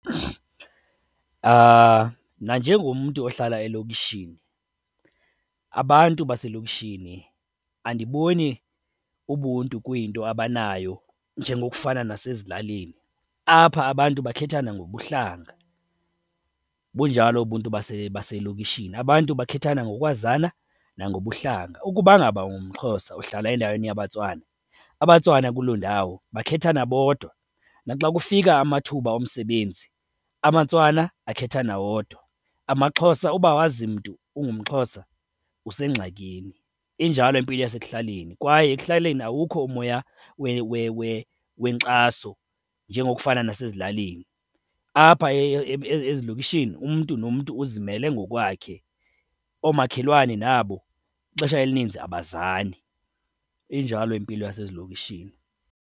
Mna, njengomntu ohlala elokishini, abantu baselokishini andiboni ubuntu kuyinto abanayo njengokufana nasezilalini. Apha abantu bakhethana ngobuhlanga, bunjalo ubuntu baselokishini. Abantu bakhethana ngokwazana nangobuhlanga. Ukuba ngaba ungumXhosa uhlala endaweni abaTswana, abaTswana kuloo ndawo bakhethana bodwa. Naxa kufika amathuba omsebenzi amaTswana akhethana wodwa, amaXhosa, uba awazi mntu ungumXhosa usengxakini. Injalo impilo yasekuhlaleni. Kwaye ekuhlaleni awukho umoya wenkxaso njengo kufana nasezilalini. Apha ezilokishini umntu nomntu uzimele ngokwakhe, oomakhelwane nabo ixesha elininzi abazani. Injalo impilo yasezilokishini.